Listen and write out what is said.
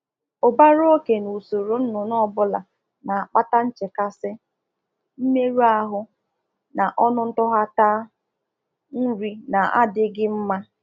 Ikpoju igwe ọkụkọ na -ụlọ ọkụkụ na eweta nrụgide, nrụgide, mmerụ ahụ n'akwa oriri nri na anaghị enyecha afọ ojuju